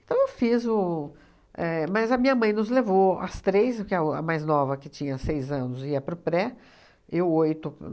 Então, eu fiz o éh... Mas a minha mãe nos levou às três, que a o a mais nova, que tinha seis anos, ia para o pré eu oito